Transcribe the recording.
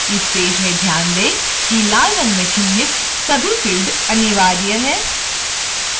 इस पेज में ध्यान दें कि लाल in में चिह्नित सभी fields अनिवार्य हैं